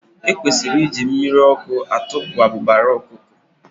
E kwesịrị iji mmiri ọkụ atụpụ abụbara ọkụkọ.